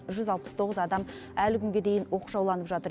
жүз алпыс тоғыз адам әлі күнге дейін оқшауланып жатыр